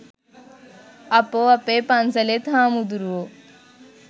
අපෝ අපේ පන්සලෙත් හාමුදුරුවෝ